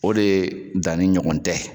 O de danni ɲɔgɔn tɛ.